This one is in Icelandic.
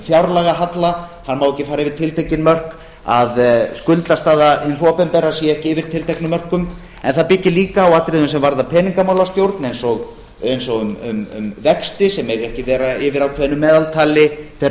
fjárlagahalla hann má ekki fara yfir tiltekin mörk að skuldastaða hins opinbera sé eða yfir tilteknum mörkum en það byggir líka á atriðum sem varða peningamálastjórn eins og um vexti sem mega ekki vera yfir ákveðnu meðaltali þeirra